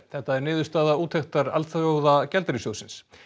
þetta er niðurstaða úttektar Alþjóðagjaldeyrissjóðsins